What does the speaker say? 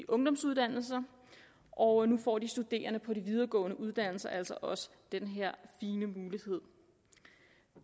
ungdomsuddannelser og nu får de studerende på de videregående uddannelser altså også den her fine mulighed